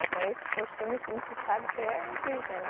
Então esses costumes a gente sabe que é indígena.